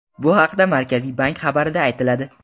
Bu haqda Markaziy bank xabarida aytiladi .